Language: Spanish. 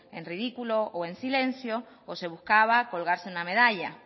en ridículo o en silencio o se buscaba colgarse una medalla